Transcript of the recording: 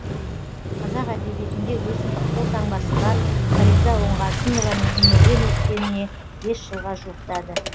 қазақ әдебиетінде өзіндік қолтаңбасы бар фариза оңғарсынованың өмірден өткеніне бес жылға жуықтады